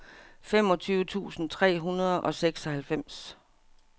femogtyve tusind tre hundrede og seksoghalvfems